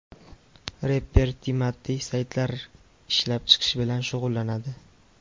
Reper Timati saytlar ishlab chiqish bilan shug‘ullanadi.